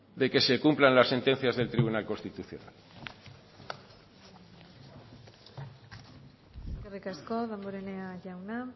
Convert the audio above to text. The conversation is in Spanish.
de que se cumplan las sentencias del tribunal constitucional eskerrik asko damborenea jauna